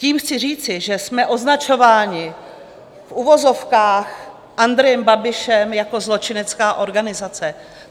Tím chci říct, že jsme označováni v uvozovkách Andrejem Babišem jako zločinecká organizace.